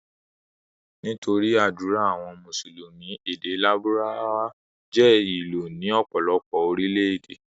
Nítorí ádùrá àwọn mùsùlùmí, èdè lárùbáwá jẹ́ ìlò ní ọ̀pọ̀lọpọ̀ Orílẹ̀-èdè.